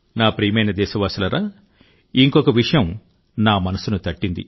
నా ప్రియమైన దేశవాసులారా ఇంకొక విషయం నా మనసును తట్టింది